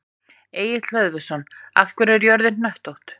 Egill Hlöðversson: Af hverju er jörðin hnöttótt?